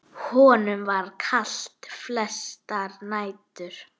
Honum var kalt flestar nætur.